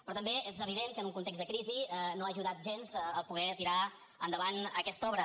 però també és evident que en un context de crisi no ha ajudat gens poder tirar endavant aquesta obra